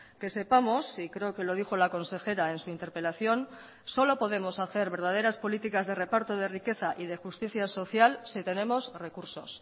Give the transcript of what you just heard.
que sepamos y creo que lo dijo la consejera en su interpelación solo podemos hacer verdaderas políticas de reparto de riqueza y de justicia social si tenemos recursos